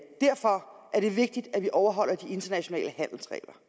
derfor er det vigtigt at vi overholder de internationale handelsregler